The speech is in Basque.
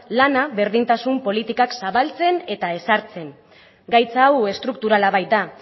lana berdintasun politikan zabaltzen eta ezartzen gaitz hau estrukturala baita